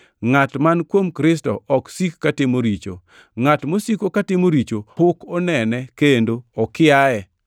Ngʼat man kuom Kristo ok sik katimo richo. Ngʼat mosiko katimo richo pok onene kendo okiaye.